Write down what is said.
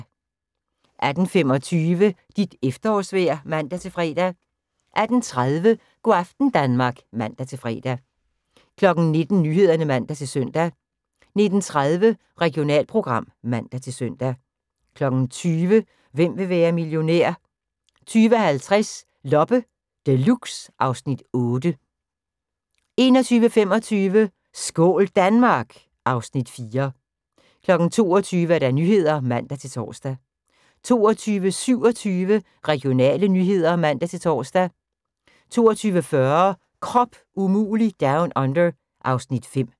18:25: Dit efterårsvejr (man-fre) 18:30: Go' aften Danmark (man-fre) 19:00: Nyhederne (man-søn) 19:30: Regionalprogram (man-søn) 20:00: Hvem vil være millionær? 20:50: Loppe Deluxe (Afs. 8) 21:25: Skål Danmark! (Afs. 4) 22:00: Nyhederne (man-tor) 22:27: Regionale nyheder (man-tor) 22:40: Krop umulig Down Under (Afs. 5)